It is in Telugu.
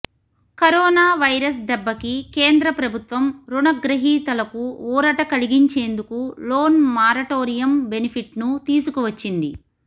కరోనా వైరస్ దెబ్బకి కేంద్ర ప్రభుత్వం రుణ గ్రహీతలకు ఊరట కలిగించేందుకు లోన్ మారటోరియం బెనిఫిట్ను తీసుకువచ్చింది